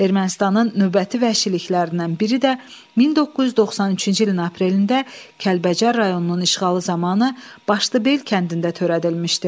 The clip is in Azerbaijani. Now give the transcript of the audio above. Ermənistanın növbəti vəhşiliklərindən biri də 1993-cü ilin aprelində Kəlbəcər rayonunun işğalı zamanı Başlıbel kəndində törədilmişdi.